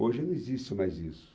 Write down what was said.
Hoje não existe mais isso.